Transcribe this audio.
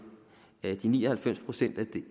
de ni og halvfems procent